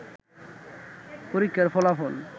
পরীক্ষার ফলাফল